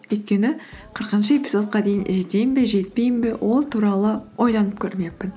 өйткені қырқыншы эпизодқа дейін жетемін бе жетпеймін бе ол туралы ойланып көрмеппін